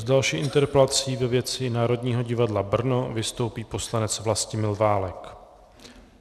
S další interpelací ve věci Národního divadla Brno vystoupí poslanec Vlastimil Válek.